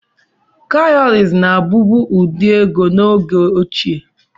Kawuries na-abụbu ụdị ego n'oge ochie.